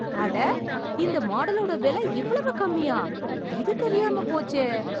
அட! இந்த மாடலோட வெல இவ்வளவு கம்மியா!? இது தெரியாமப் போச்சே!